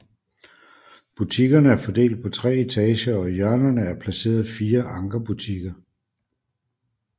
Butikkerne er fordelt på tre etager og i hjørnerne er placeret fire ankerbutikker